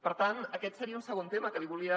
per tant aquest seria un segon tema que volia